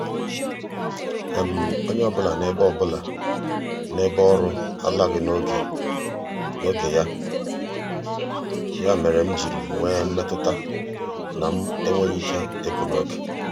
onye ọbụla n'ebe ọbụla n'ebe um ọrụ alaghị n'oge ya um mere m ji nwee mmetụta na m enweghị ike ịpụ n'oge.